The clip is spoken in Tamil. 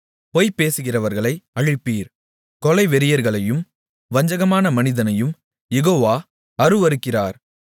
பொய் பேசுகிறவர்களை அழிப்பீர் கொலை வெறியர்களையும் வஞ்சகமான மனிதனையும் யெகோவா அருவருக்கிறார்